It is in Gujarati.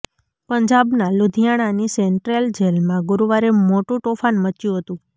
પંજાબના લુધિયાણાની સન્ટ્રેલ જેલમાં ગુરૂવારે મોટું તોફાન મચ્યું હતું